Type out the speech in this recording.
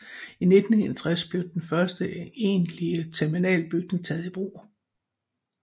I 1961 blev den første egentlige terminalbygning taget i brug